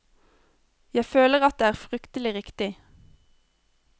Jeg føler at det er fryktelig riktig.